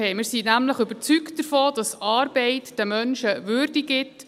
Wir sind nämlich überzeugt davon, dass Arbeit den Menschen Würde gibt.